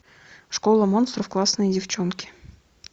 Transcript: школа монстров классные девчонки